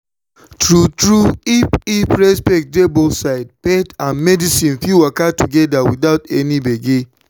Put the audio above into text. true true if if respect dey both sides faith and medicine fit waka together without any gbege.